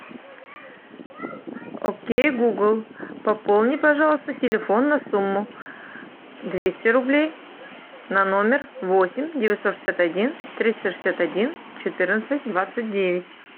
окей гугл пополни пожалуйста телефон на сумму двести рублей на номер восемь девятьсот шестьдесят один триста шестьдесят один четырнадцать двадцать девять